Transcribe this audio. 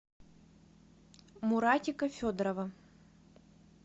муратика федорова